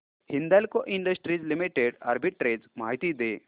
Hindalco industries limited arbitrage माहिती दे